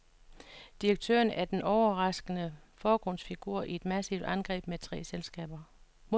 Direktøren er den overraskende forgrundsfigur i et massivt angreb mod tre selskaber.